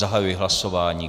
Zahajuji hlasování.